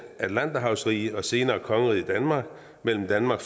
atlanterhavsrige og senere kongeriget danmark mellem danmark